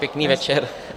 Pěkný večer.